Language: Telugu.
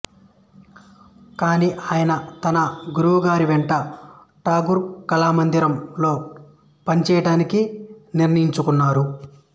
కాని ఆయన తన గురువుగారి వెంట టాగోర్ కళామందిరం లో పనిచేయటానికి నిర్ణయించుకున్నారు